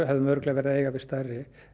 hefðum örugglega verið að eiga við stærri